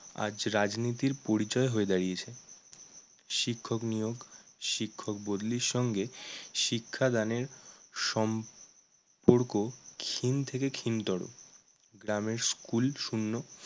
আজ রাজনীতির পরিচয় হয়ে দাঁড়িয়েছে। শিক্ষক নিয়োগ, শিক্ষক বদলির সঙ্গে শিক্ষাদানের সম পরক ক্ষীণ থেকে ক্ষীণতর। গ্রামের school শূন্য